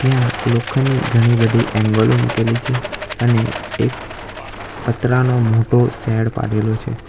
ત્યાં લોખંડની ઘણી બધી એંગલો મૂકેલી છે અને એક પતરાનો મોટો શેડ પાડેલો છે.